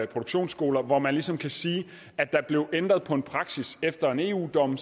produktionsskoler hvor man ligesom kan sige at der blev ændret på en praksis efter en eu dom